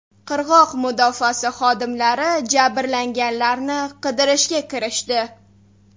Qirg‘oq mudofaasi xodimlari jabrlanganlarni qidirishga kirishdi.